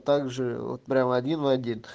также вот прям один в один